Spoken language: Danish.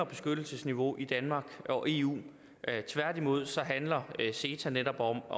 beskyttelsesniveau i danmark og eu tværtimod handler ceta netop om